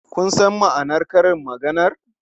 Kun san ma'anar karin maganar?